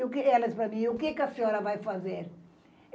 Ela disse para mim, o quê que a senhora vai fazer?